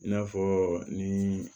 I n'a fɔ ni